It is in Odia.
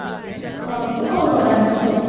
ହଁ ତୁ କଣ କଣ ଆଣିଛୁ ସବୁ